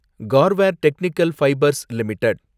Garware technical fibres limited